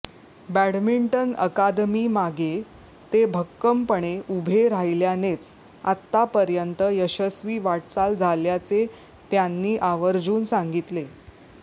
badminton अकादमीमागे ते भक्कमपणे उभे राहिल्यानेच आतापर्यंत यशस्वी वाटचाल झाल्याचे त्यांनी आवर्जून सांगितले